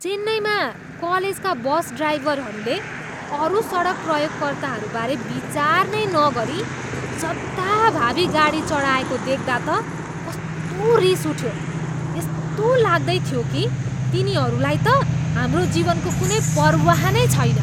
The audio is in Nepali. चेन्नईमा कलेजका बस ड्राइभरहरूले अरू सडक प्रयोगकर्ताबारे विचार नै नगरी जथाभावी गाडी चढाएको देख्दा त कस्तो रिस उठ्यो। यस्तो लाग्दै थियो कि तिनीहरूलाई त हाम्रो जीवनको कुनै पर्वाह नै छैन।